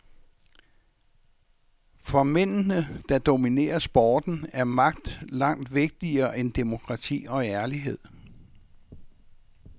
For mændene, der dominerer sporten, er magt langt vigtigere end demokrati og ærlighed.